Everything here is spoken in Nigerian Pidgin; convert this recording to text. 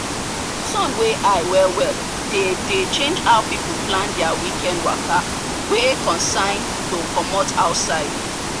sun wey high well well dey dey change how people plan their weekend waka wey concern to commot outside.